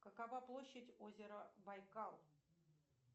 какова площадь озера байкал